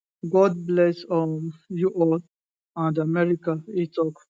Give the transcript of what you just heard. god bless um you all and america e tok